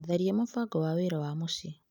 Tharia mũbango wa wĩra wa mũciĩ.